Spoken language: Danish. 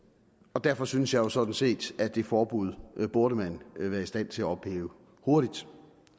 og derfor synes jeg sådan set at det forbud burde man være i stand til at ophæve hurtigt